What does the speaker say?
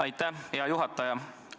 Aitäh, hea juhataja!